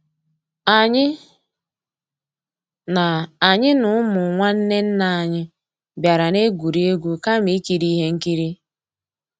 Ànyị́ ná Ànyị́ ná ụmụ́ nnwànné nná ànyị́ bìàrà ná-ègwúrí égwu kàmà ìkírí íhé nkírí.